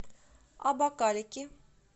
абакалики